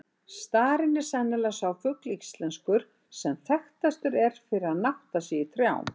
Starinn er sennilega sá fugl íslenskur, sem þekktastur er fyrir að nátta sig í trjám.